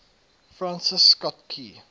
francis scott key